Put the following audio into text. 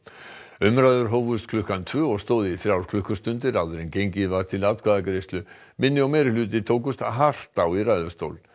umræður hófust klukkan tvö og stóðu í þrjár klukkustundir áður en gengið var til atkvæðagreiðslu minni og meirihluti tókust hart á í ræðustól